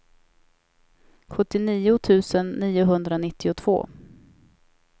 sjuttionio tusen niohundranittiotvå